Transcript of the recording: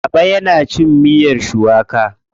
Baba yana cin miyar shuwaka kullum.